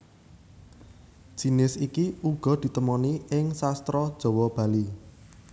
Jinis iki uga ditemoni ing Sastra Jawa Bali